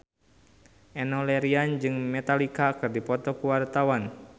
Enno Lerian jeung Metallica keur dipoto ku wartawan